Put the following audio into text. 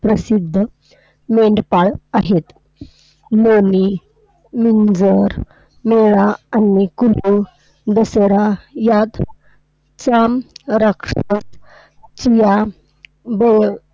प्रसिद्ध मेंढपाळ आहेत. मोमी, मुंजार, मेळा आणि कुल्लू दशेहरा यात चाम रक्षक, चिया गोळ